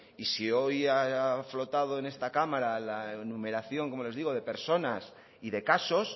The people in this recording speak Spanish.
y si hoy a flotado en esta cámara la enumeración como les digo de personas y de casos